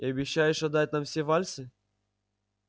и обещаешь отдать нам все вальсы